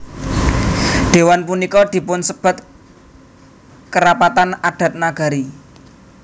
Dhéwan punika dipunsebat Kerapatan Adat Nagari